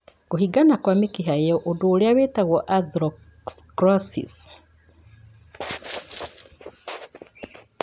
Kũhingana kwa mĩkiha ĩyo, ũndũ ũrĩa wĩtagwo atherosclerosis.